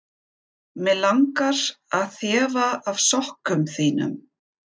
Mig langar að þefa af sokkum þínum.